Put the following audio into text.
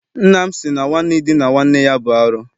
Nna m sị na nwanne idina nwanne ya bụ arụ.